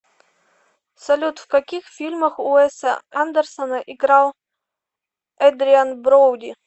салют в каких фильмах уэса андерсона играл эдриан броуди